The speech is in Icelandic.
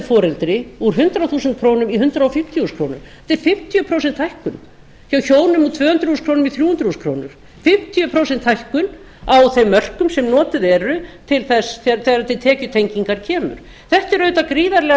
foreldri úr hundrað fimmtíu þúsund krónur í hundrað fimmtíu þúsund krónur þetta er fimmtíu prósent hækkun hjá hjónum úr tvö hundruð þúsund krónur í þrjú hundruð þúsund krónur fimmtíu prósent hækkun á þeim mörkum sem notuð eru þegar til tekjutengingar kemur þetta er auðvitað gríðarlega